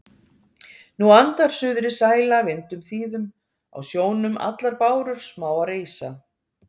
Nú andar suðrið sæla vindum þýðum, á sjónum allar bárur smáar rísa